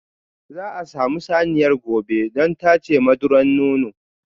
Za a samu saniyar gobe don tace madura nonon.